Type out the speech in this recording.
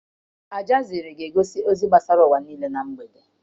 Aljazira ga-egosi ozi gbasara ụwa niile na mgbede.